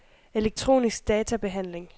elektronisk databehandling